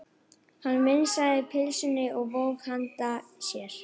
Hann vingsaði pylsunni og vóg hana í hendi sér.